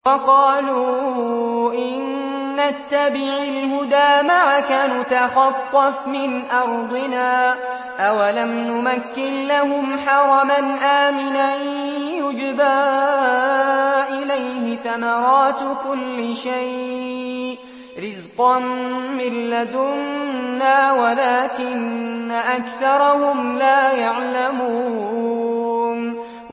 وَقَالُوا إِن نَّتَّبِعِ الْهُدَىٰ مَعَكَ نُتَخَطَّفْ مِنْ أَرْضِنَا ۚ أَوَلَمْ نُمَكِّن لَّهُمْ حَرَمًا آمِنًا يُجْبَىٰ إِلَيْهِ ثَمَرَاتُ كُلِّ شَيْءٍ رِّزْقًا مِّن لَّدُنَّا وَلَٰكِنَّ أَكْثَرَهُمْ لَا يَعْلَمُونَ